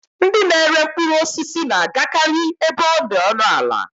Ndị na-ere mkpụrụ osisi na-agakari ebe ọ dị ọnụ ala.